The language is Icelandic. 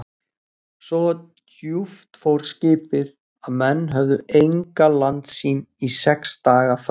Svo djúpt fór skipið, að menn höfðu enga landsýn í sex daga frá